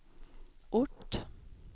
ort